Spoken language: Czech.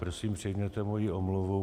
Prosím, přijměte moji omluvu.